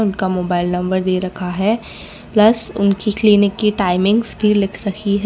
उनका mobile number दे रखा है प्लस उनकी क्लिनिक की टाइमिंग्स भी लिख रखी है।